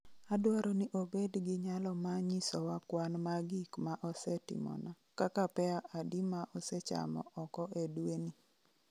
Adwaro ni obed gi nyalo ma nyisowa kwan ma gik ma osetimona kaka pear adi ma asechamo oko e dwe ni